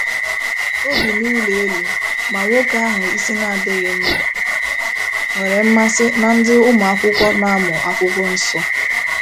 O bi n'ụlọ elu, ma nwoke ahụ isi adịghị mma nwere mmasị na ndị ụmụakwụkwọ na-amụ akwụkwọ nsọ.